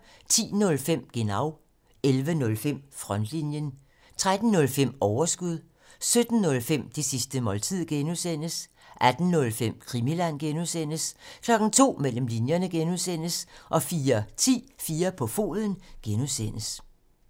10:05: Genau 11:05: Frontlinjen 13:05: Overskud 17:05: Det sidste måltid (G) 18:05: Krimiland (G) 02:00: Mellem linjerne (G) 04:10: 4 på foden (G)